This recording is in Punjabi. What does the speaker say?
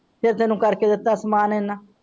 ਤੇ ਤੈਨੂੰ ਕਰ ਦਿੱਤਾ ਸਮਾਨ ਇਹਨਾਂ।